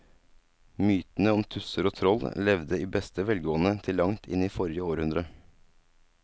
Mytene om tusser og troll levde i beste velgående til langt inn i forrige århundre.